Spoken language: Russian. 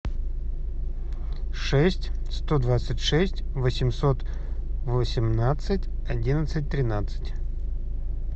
шесть сто двадцать шесть восемьсот восемнадцать одиннадцать тринадцать